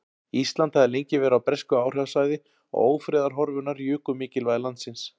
Ísland hafði lengi verið á bresku áhrifasvæði og ófriðarhorfurnar juku mikilvægi landsins.